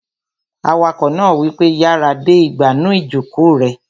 Awakọ̀ náà wípé, "yára de ìgbànú ìjòkó rẹ!"